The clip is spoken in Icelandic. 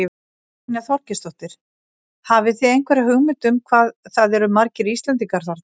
Brynja Þorgeirsdóttir: Hafið þið einhverja hugmynd um hvað það eru margir Íslendingar þarna?